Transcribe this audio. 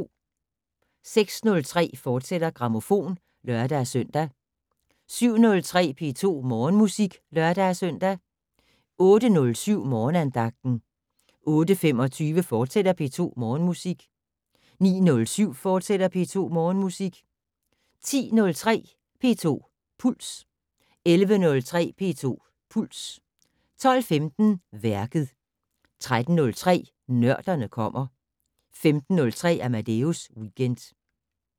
06:03: Grammofon, fortsat (lør-søn) 07:03: P2 Morgenmusik (lør-søn) 08:07: Morgenandagten 08:25: P2 Morgenmusik, fortsat 09:07: P2 Morgenmusik, fortsat 10:03: P2 Puls 11:03: P2 Puls 12:15: Værket 13:03: Nørderne kommer 15:03: Amadeus Weekend